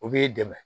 O b'i dɛmɛ